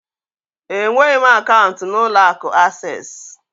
Enweghị m akaụntụ n'ụlọ akụ Asés